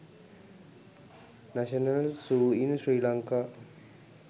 national zoo in sri lanka